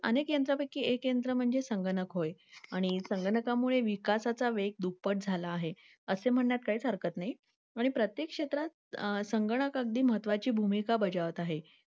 अनेक यांचापैकी एक केंद्र म्हणजे संगणक होय. आणि संगणकामुळे विकासाचा वेग दुप्पट झाला आहे असे म्हणण्यास काहीच हरकत नाही आणि प्रत्येक क्षेत्रात संगणक अगदी महत्वाची भूमिका बजावत आहे.